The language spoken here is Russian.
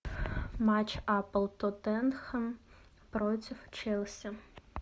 матч апл тоттенхэм против челси